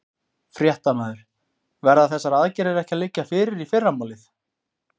Fréttamaður: Verða þessar aðgerðir ekki að liggja fyrir í fyrramálið?